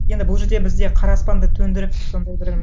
енді бұл жерде біз де қара аспанды төндіріп сондай бір